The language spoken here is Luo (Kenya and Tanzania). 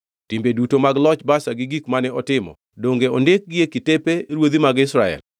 Timbe duto mag loch Baasha gi gik mane otimo, donge ondikgi e kitepe ruodhi mag Israel?